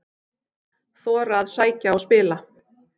Þora að sækja og spila